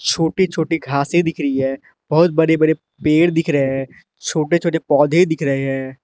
छोटी छोटी घासे दिख रही है बहुत बड़ी बड़ी पेड़ दिख रहे हैं छोटे छोटे पौधे दिख रहे हैं।